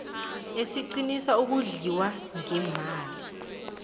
esiqinisa ukondliwa ngeemali